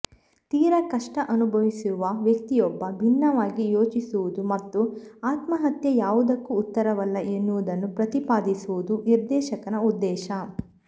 ತೀರಾ ಕಷ್ಟ ಅನುಭವಿಸುವ ವ್ಯಕ್ತಿಯೊಬ್ಬ ಭಿನ್ನವಾಗಿ ಯೋಚಿಸುವುದು ಮತ್ತು ಆತ್ಮಹತ್ಯೆ ಯಾವುದಕ್ಕೂ ಉತ್ತರವಲ್ಲ ಎನ್ನುವುದನ್ನು ಪ್ರತಿಪಾದಿಸುವುದು ನಿರ್ದೇಶಕರ ಉದ್ದೇಶ